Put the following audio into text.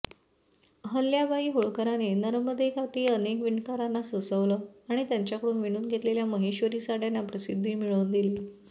अहल्याबाई होळकरांनी नर्मदेकाठी अनेक विणकरांना वसवलं आणि त्यांच्याकडून विणून घेतलेल्या महेश्वरी साडय़ांना प्रसिद्धी मिळवून दिली